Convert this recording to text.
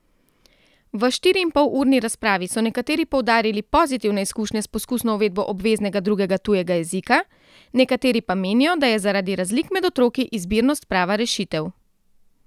V štiriinpolurni razpravi so nekateri poudarili pozitivne izkušnje s poskusno uvedbo obveznega drugega tujega jezika, nekateri pa menijo, da je zaradi razlik med otroki izbirnost prava rešitev.